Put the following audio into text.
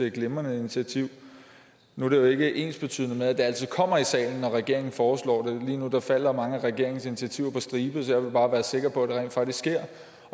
et glimrende initiativ nu er det jo ikke ensbetydende med at det altid kommer i salen når regeringen foreslår det lige nu falder mange af regeringens initiativer på stribe så jeg vil bare være sikker på at det rent faktisk sker